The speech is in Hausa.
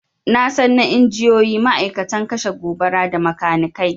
Nasan na injiniyoyi, ma'aikatan kashe gobara, da makanikai